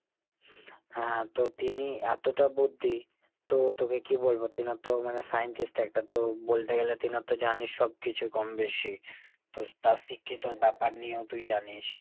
হ্যাঁ তো তিনি এতটা বুদ্ধি, তো তোকে কী বলবো ? তেনার তো মানে scientist একটা তো বলতে গেলে তেনার তো জানিস সব কিছুই কম বেশি। তো তার শিক্ষিত ব্যাপার নিয়েও তুই জানিস।